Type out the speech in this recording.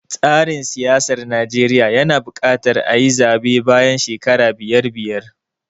Tsarin siyasar Najeriya yana buƙatar ayi zaɓe bayan shekara biyar biyar.